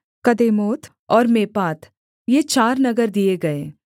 कदेमोत और मेपात ये चार नगर दिए गए